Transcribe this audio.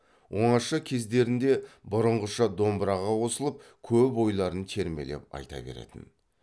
оңаша кездерінде бұрынғыша домбыраға қосылып көп ойларын термелеп айта беретін